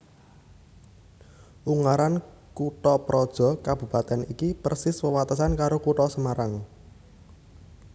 Ungaran kuthaprojo kabupatèn iki persis wewatesan karo Kutha Semarang